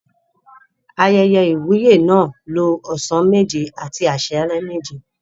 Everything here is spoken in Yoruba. Ayẹyẹ ìwúyè náà lo ọ̀sán méje àti àsálẹ́ méje.